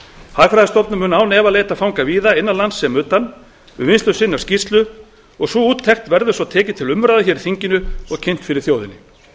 hagfræðistofnun mun án efa leita fanga víða innan lands sem utan við vinnslu skýrslu sinnar sú úttekt verður svo tekin til umræðu í þinginu og kynnt fyrir þjóðinni